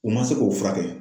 U ma se k'o furakɛ